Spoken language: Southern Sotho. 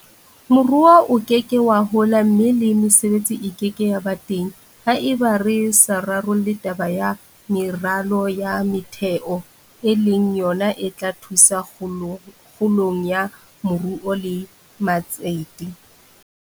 Moruo o ke ke wa hola mme le mesebetsi e ke ke ya ba teng haeba re sa rarolle taba ya meralo ya motheo e leng yona e tla thusa kgolong ya moruo le matsete.